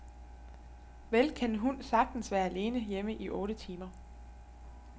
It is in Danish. Vel kan en hund sagtens være alene hjemme i otte timer.